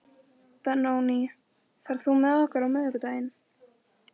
Benóný, ferð þú með okkur á miðvikudaginn?